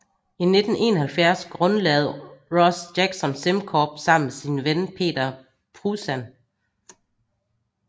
I 1971 grundlagde Ross Jackson SimCorp sammen med sin ven Peter Pruzan